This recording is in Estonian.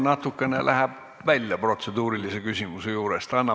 See läheb natukene protseduurilise küsimuse raamest välja.